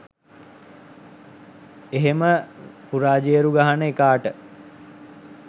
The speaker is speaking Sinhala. එහෙම පුරාජේරු ගහන එකාට